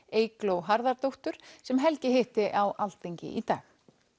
Eygló Harðardóttur sem Helgi hitti á Alþingi í dag